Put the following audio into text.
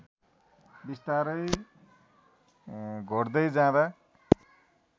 बिस्तारै घोट्दै जाँदा